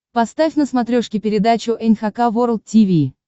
поставь на смотрешке передачу эн эйч кей волд ти ви